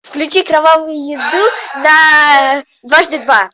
включи кровавую езду на дважды два